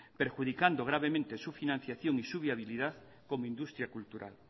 perjudicando gravemente su financiación y viabilidad como industria cultural